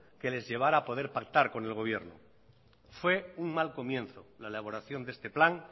que les llevara a poder pactar con el gobierno fue un mal comienzo la elaboración de este plan